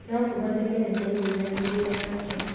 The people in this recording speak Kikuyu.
No kũhoteke nĩ maiguithanirie nake".